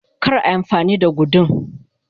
kar a Yi amfani da gudun